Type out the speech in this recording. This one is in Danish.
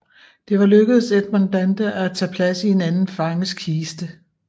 Det var lykkedes Edmond Dantès at tage plads i en anden fanges kiste